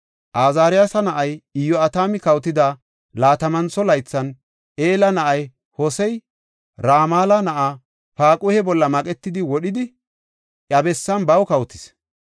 Azaariyasa na7ay Iyo7atami kawotida laatamantho laythan, Ela na7ay Hosey Ramala na7aa Paaquhe bolla maqetidi wodhidi, iya bessan baw kawotis.